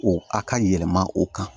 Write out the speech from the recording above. O a ka yɛlɛma o kan